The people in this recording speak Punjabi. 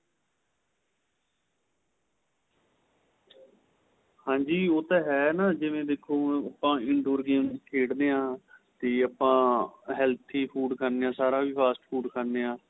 ਹਾਂਜੀ ਉਹ ਤਾਂ ਏਹ ਜਿਵੇਂ ਦੇਖੋ ਹੁਣ ਆਪਾ in door game ਖੇਡਦੇ ਹਾਂ ਤੇ ਆਪਾ healthy food ਖਾਂਦੇ ਆਂ ਸਾਰਾ ਵੀ fast food ਖਾਣੇ ਆਂ